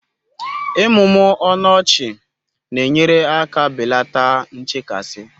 Ịmụmụ ọnụ ọchị na-enyere aka belata nchekasị